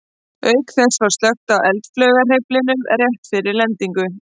Auk þess var slökkt á eldflaugarhreyflinum rétt fyrir lendingu.